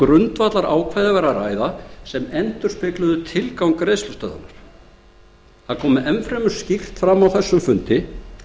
grundvallarákvæði væri að ræða sem endurspegluðu tilgang greiðslustöðvunar það kom enn fremur skýrt fram á þessum fundi